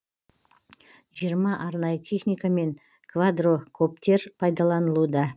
жиырма арнайы техника мен квадракоптер пайдаланылуда